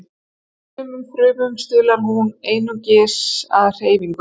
Í sumum frumum stuðlar hún einnig að hreyfingum.